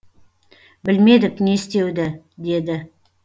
білмедік не істеуді деді